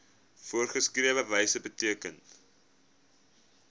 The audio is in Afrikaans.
voorgeskrewe wyse beteken